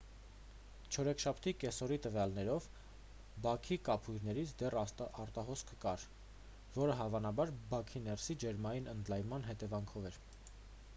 չորեքշաբթի կեսօրի տվյալներով բաքի կափույրներից դեռ արտահոսք կար որը հավանաբար բաքի ներսի ջերմային ընդլայնման հետևանքով էր